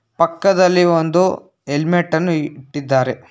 ಪಕ್ಕದಲ್ಲಿ ಒಂದು ಹೆಲ್ಮೆಟ್ ಅನ್ನು ಇಟ್ಟಿದ್ದಾರೆ.